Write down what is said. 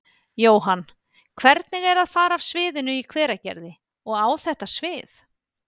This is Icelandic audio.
Jóhann: Hvernig er að fara af sviðinu í Hveragerði og á þetta svið?